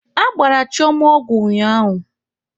Agbara Chioma ọgwụ ụnyaahụ.